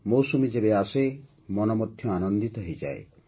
ମୌସୁମୀ ଯେବେ ଆସେ ମନ ମଧ୍ୟ ଆନନ୍ଦିତ ହୋଇଯାଏ